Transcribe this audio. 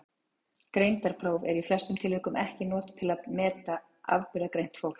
Greindarpróf eru í flestum tilvikum ekki notuð til að meta afburðagreint fólk.